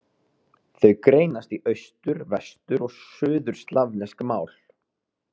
Þau greinast í austur-, vestur- og suðurslavnesk mál.